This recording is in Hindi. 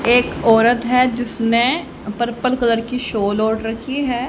एक औरत है जिसने पर्पल कलर की सोल ओढ रखी है।